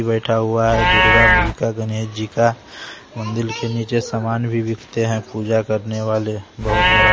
बैठा हुआ है दुर्गा जी का गणेश जी का मंदिर के नीचे सामान भी बिकते हैं पूजा करने वाले बहुत बड़ा --